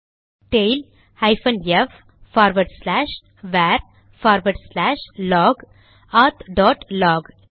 tail hyphen F forward slash var forward slash log auth dot lock